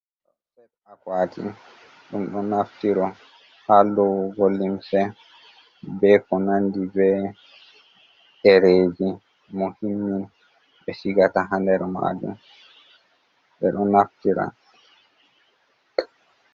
Set akwati ɗum ɗo naftiro haa loowugo limse, bee ko nandi bee ɗereeji muhimmi, ɓe sigata haa nder maajum ɓe ɗo naftira.